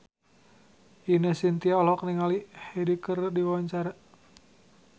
Ine Shintya olohok ningali Hyde keur diwawancara